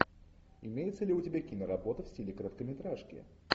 имеется ли у тебя киноработа в стиле короткометражки